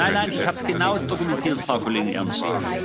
Nein, ich habe es genau dokumentiert, Frau Kollegin Ernst.